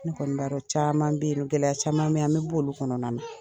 Ne kɔni n b'a dɔ caman bɛ yen nɔ gɛlɛya caman bɛ yen an bɛ b'olu kɔnɔna na